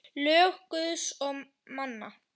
Lög Guðs og manna.